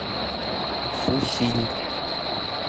фусинь